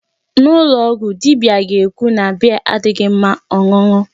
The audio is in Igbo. N'ụlọ ọgwụ dibia ga-ekwu na beer adịghị mma ọṅụṅụ.